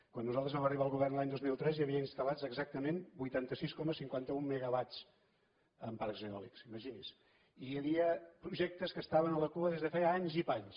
quan nosaltres vam arribar al govern l’any dos mil tres hi havia instal·lats exactament vuitanta sis coma cinquanta un megawats en parcs eòlics imagini’s i hi havia projectes que estaven a la cua des de feia anys i panys